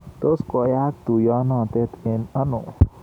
Tos koyaak tuiyenoto eng ano?